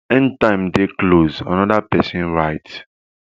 end time dey close anoda pesin write